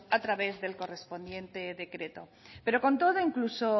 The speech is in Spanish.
a través del correspondiente decreto pero con todo incluso